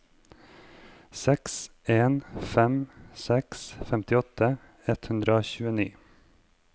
seks en fem seks femtiåtte ett hundre og tjueni